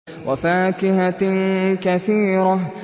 وَفَاكِهَةٍ كَثِيرَةٍ